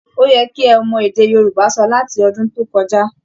Ó yẹ kí ẹ ti mọ èdè Yorùbá sọ láti ọdún tó kọjá!